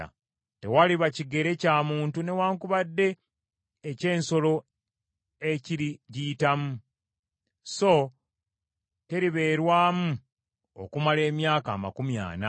Tewaliba kigere kya muntu newaakubadde ky’ensolo ekiri giyitamu, so teribeerwamu okumala emyaka amakumi ana.